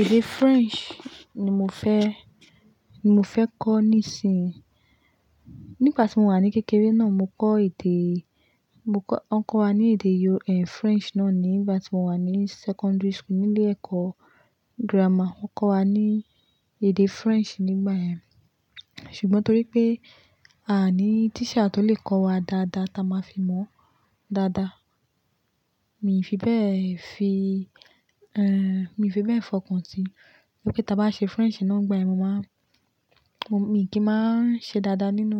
Èdè French ni mo fẹ́, ni mo fẹ́ kọ́ nísinyì. Nígbà tí mo wà ní kékeré náà mo kọ́ èdè, mo kọ́, wọ́n kọ́ wa ní èdè Yo- French náà nígbà tí mo wà ní secondary school nílé ẹ̀kọ́ grammar. Wọ́n kọ́ wa ní èdè French nígbà yẹn. Ṣùgbọ́n torí pé a ò ní teacher tó lè kọ́ wa dáadáa táa máa fi mọ̀ dáadáa. Mi fi bẹ́ẹ̀ fi, mi fi bẹ́ẹ̀ fọkàn sí i. Bí pé táa bá ṣe French náà nígbà yén, mo máa n, mo, mi kì í máa ń ṣe dáadáa nínú,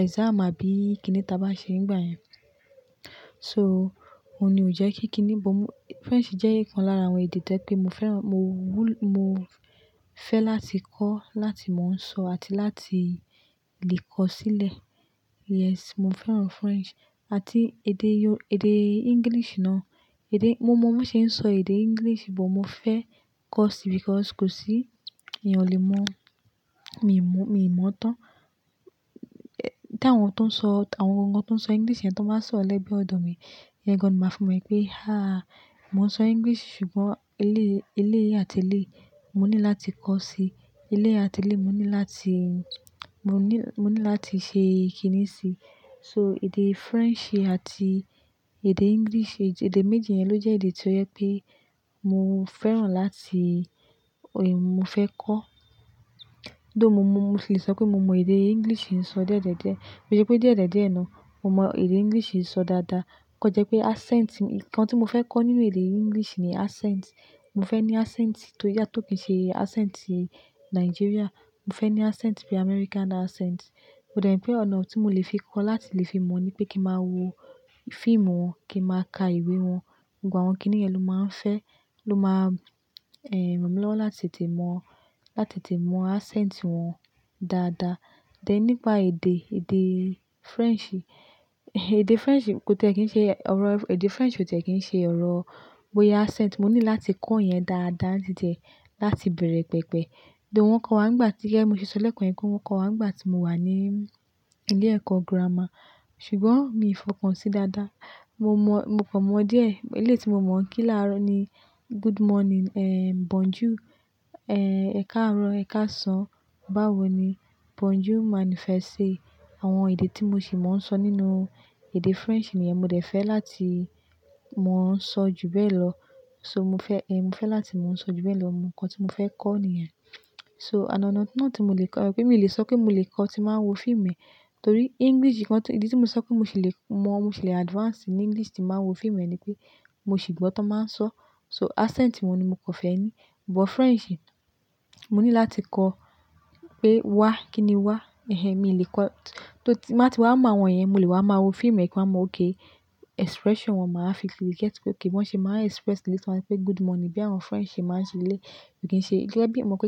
exam àbí kíni táa bá ṣe nígbà yẹn. So, òun ni ò jẹ́ kí kini bo mú. French jẹ́ ìkan lára àwọn èdè tó jẹ́ pé mo fẹ́ràn, mo wúl- mo fẹ́ láti kọ́, láti mò ń sọ àti láti lè kọ sílẹ̀. Yes, mo fẹ́ràn French àti èdè yo- èdè English náà. Èdè, mo mọ̀, bò ń ṣe ń sọ èdè English bó mo fẹ́ kọ́ sí because kò sí èèyàn ò lè mọ̀. Mi mọ̀, mi mọ̀ tán. Tí àwọn tó ń sọ, àwọn gangan tó ń sọ English yẹn ton bá sọ̀rọ́ lẹ́gbẹ̀ẹ́ ọ̀dọ̀ mi, ìyẹn gán ni máa fi mọ̀ pé, "Háà! Mo ń sọ English ṣùgbọ́n eléyìí, eléyìí àti eléyìí mo ní láti kọ́ sí. Eléyìí àti eléyìí mo ní láti, mo ní, mo ní láti ṣe ìkíni sí i." So èdè French àti èdè English, èdè méjì yẹn ló jẹ́ èdè tí ó jẹ pé mo fẹ́ràn láti, mo fẹ́ kọ́. Tho mo mọ, mo sì lè sọ pé mo mọ èdè English ń sọ díẹ̀díẹ̀díẹ̀. Kí i ṣe pé díẹ̀díẹ̀díẹ̀ náà mo mọ èdè English ń sọ dáadáa. Kan jẹ́ pé accent. Ìkan tí mo fẹ́ kọ́ nínú èdè English ni accent. Mo fẹ́ ní accent tó yà tó kì í ṣe accent Nigeria. Mo fẹ́ ní accent bí i American accent. Ó dẹ̀ rí pé ọ̀nà tí mo lè fi kọ láti lè fi mọ̀ ní pé kí n máa wo fíìmù wọn, kí máa ka ìwé wọn. Gbogbo àwọn kíníyẹn ló máa ń fẹ́, ló máa, ràn mí lọ́wọ́ láti tètè mọ̀, láti tètè mọ̀ accent wọn dáadáa. Then nípa èdè, èdè French. Èdè French kò tíì kí í ṣe ọ̀rọ̀, èdè French kò tíì kí í ṣe ọ̀rọ̀ bóyá accent. Mo ní láti kọ́ ìyẹn dáadáa ni títí e láti bèèrè pẹpẹ. Tho wọ́n kọ́ wa nígbà tí, gẹ́gẹ́ bí mo ṣe sọ lẹ́kan yẹn pé wọ́n kọ́ wa nígbà tí mo wà ní ilé ẹ̀kọ́ grammar. Ṣùgbọ́n mi ò fọkàn sí i dáadáa. Mo mọ̀, mo kàn mọ̀ díẹ̀. Eléyìí tí mo mọ̀ n kí làró ni good morning, bonjour, ẹ̀karọ, ẹ̀kásàn, báwo ni, bonjour manifesté. Àwọn èdè tí mo ṣì máa ń sọ nínú èdè French nìyẹn mo dẹ̀ fẹ́ láti mò ń sọ jù bẹ́ẹ̀ lọ. So mo fẹ́, mo fẹ́ láti mò ń sọ jù bẹ́ẹ̀ lọ. Òhun nǹkan tí mo fẹ́ kọ́ nìyẹn. Ọ̀nà mi wa tí mo lè so torí English nìkan tó, ìdí tí mo sọ pé mo ṣì lè mọ̀, mo ṣì lè advance ní English tí màá wo fíìmù ni pé mo ṣì gbọ́ tán máa ń sọ. So accent mi ni mo kò fẹ́ ní. But French, mo ní láti kọ́ pé wa, kíni wa, ehn, mi lè kọ́. Tó ti, bá ti wá máa wọ̀n yẹn, mo lè wá máa wo fíìmù kí n máa mọ̀ pé oké expression wọn máa ń fi lè kẹ́tì pé oké wọn ṣe máa ń express. Kíni tí wọ́n ń pé good morning bí àwọn French ṣe máa ń ṣe lé. Kò kí n ṣe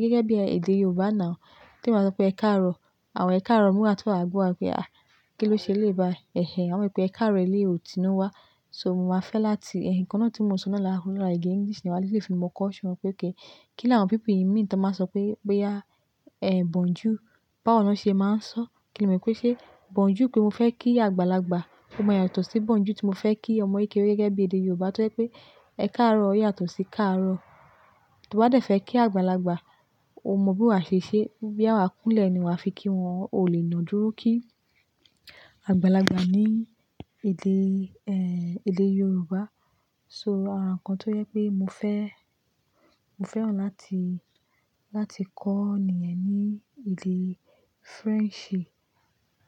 gẹ́gẹ́ bí èdè Yorùbá náà, tí wọ́n máa ń sọ pé ẹ̀karọ. Àwọn ẹ̀karọ múra tó wà gbọ́ pé, "Àì! Kí ló ṣe léba?" "Ehen, àwọn pé ẹ̀karọ eléyìí ò tínú wá." So mo máa fẹ́ láti, ehn, ìkan náà tí mo sọ náà lára, lára ìgbé English ni wá lè ṣe é fi mọ̀ caution pé okay kí làwọn people yìí mi tí wọ́n máa sọ pé, pé ya, eh, bonjour. Báwo ni wọ́n ṣe máa ń sọ? Kíni mi kó ṣe bonjour pé mo fẹ́ kí àgbàlagbà. Ó máa yàtọ̀ sí bonjour tí mo fẹ́ kí ọmọ ìkéré gẹ́gẹ́ bí èdè Yorùbá tí ó jẹ́ pé ẹ̀karọ yàtọ̀ sí káàárọ̀. Tó bá dẹ̀ fẹ́ kí àgbàlagbà, o mọ bí wà ṣe ṣe. Bóyá wa kúnlẹ̀ ni wà á fi kí wọn. O lè ná dúró kí àgbàlagbà ní èdè, ehn, èdè Yorùbá. So àràǹkan tó yẹ pé mo fẹ́, mo fẹ́ràn láti, láti kọ́ nìyẹn ní èdè French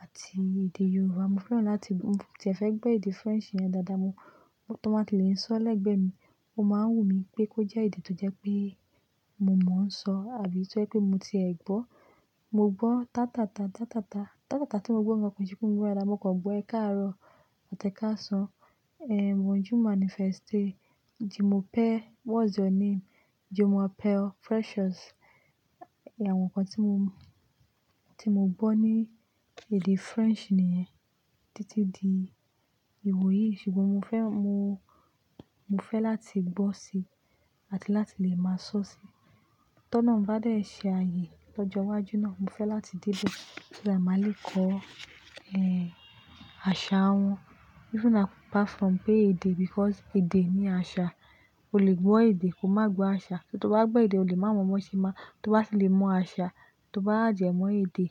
àti èdè Yorùbá. Mo fẹ́ràn láti, mo ti fẹ́ gbọ́ èdè French yẹn dáadáa mu. Tó bá ti lè ń sọ ọ lẹ́gbẹ̀ẹ́ mi, ó máa ń wù mí pé kó jẹ́ èdè tó jẹ́ pé mo mọ̀ ń sọ àbí tí ó jẹ́ pé mo ti ẹ̀ gbọ́. Mo gbọ́ tátàtà tátàtà. Tátàtà tí mo gbọ́ gan ko i ṣe pé mo gbọ́ dáadá mo kò gbọ́ ẹ̀karọ àti ẹ̀kásàn, eh, bonjour manifesté, je m'appelle, what's your name? Je m'appelle Precious. Ìyẹn àwọn ǹkan tí mo, tí mo gbọ́ ní èdè French nìyẹn títí di ìwòyí. Ṣùgbọ́n mo fẹ́, mo, mo fẹ́ láti gbọ́ sí i àti láti lè máa sọ sí i. Tọ́nà bá dẹ̀ ṣe ààyè lọ́jọ́ iwájú náà, mo fẹ́ láti dé ibi tí a máa lè kọ́, ehn, àṣà wọn. Even apart from pé èdè because èdè ní àṣà. O lè gbọ́ èdè, kò má gbọ́ àṣà. Tó bá gbọ́ èdè o lè má mọ̀ bó ṣe má, tó bá ti lè mọ̀ àṣà, tó bá add e mọ̀ èdè.